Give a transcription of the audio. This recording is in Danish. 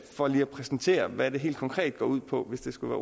for lige at præsentere hvad det helt konkret går ud på hvis det skulle